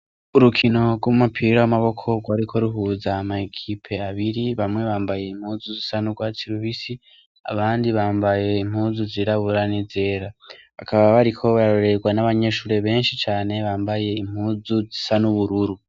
Urukino rw'umupira w'amaboko rwariko ruhuza amakipe abiri bamwe bambaye impuzu zisa n'ugwatsi rubisi abandi bambaye impuzu zirabura n'izera. Bakaba bariko bararorerwa n'abanyeshure benshi cane bambaye impuzu zisa n'ubururu.